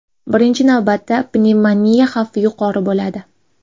Birinchi navbatda, pnevmoniya xavfi yuqori bo‘ladi.